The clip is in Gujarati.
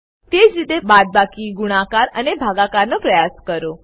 તેજ રીતે બાદબાકીગુણાકારઅને ભાગાકાર નો પ્રયાસ કરો